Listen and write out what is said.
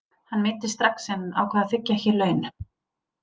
Hann meiddist strax en ákvað að þiggja ekki laun.